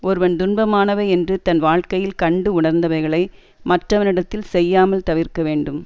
ஒருவன் துன்பமானவை என்று தன் வாழ்க்கையில் கண்டு உணர்ந்தவைகளை மற்றவனிடத்தில் செய்யாமல் தவிர்க்க வேண்டும்